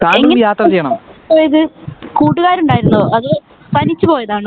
എങ്ങിനെ പോയത് കൂട്ടുകാർ ഉണ്ടായിരുന്നോ അതോ തനിച്ച് പോയതാണോ